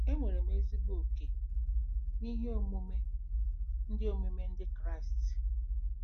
Enwere m ezigbo oke n'ihe omume Ndị omume Ndị Kraịst